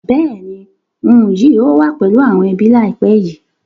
Bẹ́ẹ̀ni ń yìí ó wà pẹ̀lú àwọn ẹbí laipẹ́ yí